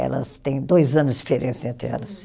Elas têm dois anos de diferença entre elas.